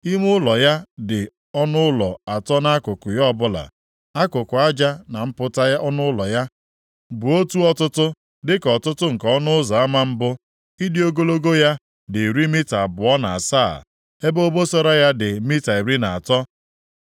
Ime ụlọ ya dị ọnụ ụlọ atọ nʼakụkụ ya ọbụla. Akụkụ aja na mpụta ọnụ ụlọ ya, bụ otu ọtụtụ dịka ọtụtụ nke ọnụ ụzọ ama mbụ. Ịdị ogologo ya dị iri mita abụọ na asaa, ebe obosara ya dị mita iri na atọ.